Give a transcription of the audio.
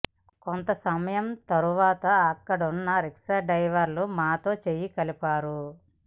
కొంత సమయం తర్వాత అక్కడున్న రిక్షా డ్రైవర్లు మాతో చేయి కలిపారు